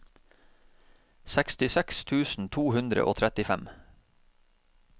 sekstiseks tusen to hundre og trettifem